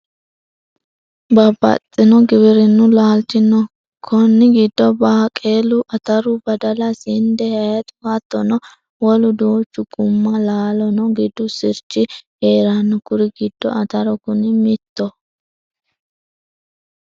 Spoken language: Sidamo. Babbaxxino giwirinu laalchi no koni giddo baaqelu ,ataru badala sinde hayixu hattono wolu duuchu guma laalano gidu sirchi heerano kuri giddo ataru kuni mittoho.